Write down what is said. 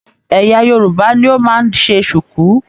Ẹyà Yorùbá ní o máa n se sùkú.